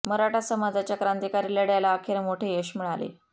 मराठा समाजाच्या क्रांतिकारी लढय़ाला अखेर मोठे यश मिळाले